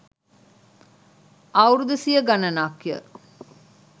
අවුරුදු සිය ගණනක් ය